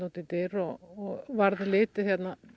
úteftir og varð litið